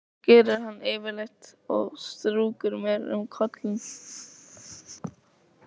Það gerir hann yfirleitt og strýkur mér um kollinn.